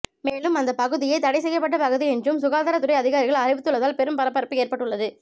மேலும் அந்த பகுதியை தடை செய்யப்பட்ட பகுதி என்றும் சுகாதாரத்துறை அதிகாரிகள் அறிவித்துள்ளதால் பெரும் பரபரப்பு ஏற்பட்டுள்ளது